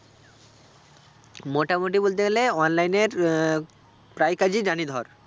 মোটামোটি বলতে গেলে online এর আহ প্রায়ই কাজই জানি ধর